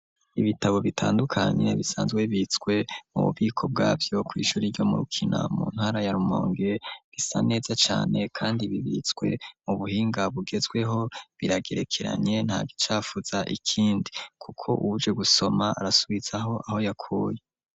Ibitabo bitandukanye bisanzwe bibitswe mu bubiko bwavyo, kw'ishure iryo mu Rukina, mu ntara ya Rumonge, bisa neza cane kandi bibitswe mu buhinga bugezweho, biragerekeranye nta gicafuza ikindi kuko uwuje gusoma arasubiza aho yakuye.